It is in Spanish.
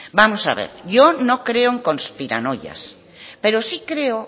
vamos a ver yo no creo en conspiranoias pero sí creo